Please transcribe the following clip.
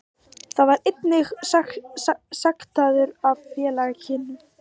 Hann var einnig sektaður af félaginu